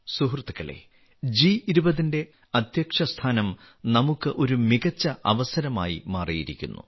സുഹൃത്തുക്കളേ ജി20 ന്റെ അധ്യക്ഷസ്ഥാനം നമുക്ക് ഒരു മികച്ച അവസരമായി മാറിയിരിക്കുന്നു